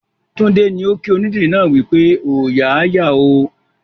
Tunde ni o kí onídìrí náà wípé "Ooya a yà ó"